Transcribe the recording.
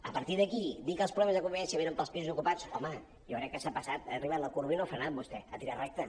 a partir d’aquí dir que els problemes de convivència venen pels pisos ocupats home jo crec que s’ha passat ha arribat a la corba i no ha frenat vostè ha tirat recte